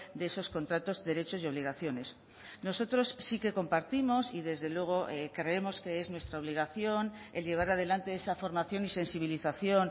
de esos contratos derechos y obligaciones nosotros sí que compartimos y desde luego creemos que es nuestra obligación el llevar adelante esa formación y sensibilización